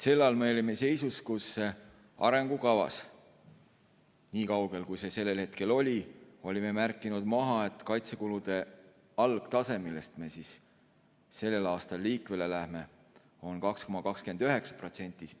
Sel ajal me olime seisus, kus arengukavas, nii kaugel, kui see sellel hetkel oli, oli märgitud maha, et kaitsekulude algtase, millest me sellel aastal liikvele läheme, on 2,29%.